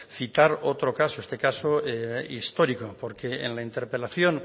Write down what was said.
citar otro caso este caso histórico porque en la interpelación